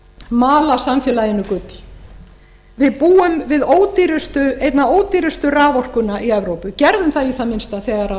mala samfélaginu gull við búum við einna ódýrustu raforkuna í evrópu gerðum það í það minnsta þegar